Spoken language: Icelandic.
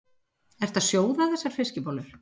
Ertu að sjóða þessar fiskbollur?